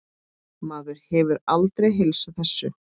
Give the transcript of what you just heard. Maður hefur aldrei heilsað þessu.